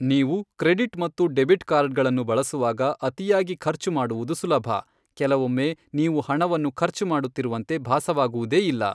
ನೀವು ಕ್ರೆಡಿಟ್ ಮತ್ತು ಡೆಬಿಟ್ ಕಾರ್ಡ್ಗಳನ್ನು ಬಳಸುವಾಗ ಅತಿಯಾಗಿ ಖರ್ಚು ಮಾಡುವುದು ಸುಲಭ, ಕೆಲವೊಮ್ಮೆ ನೀವು ಹಣವನ್ನು ಖರ್ಚು ಮಾಡುತ್ತಿರುವಂತೆ ಭಾಸವಾಗುವುದೇ ಇಲ್ಲ.